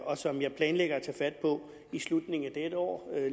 og som jeg planlægger at tage fat på i slutningen af dette år